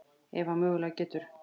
Ef hann mögulega getur.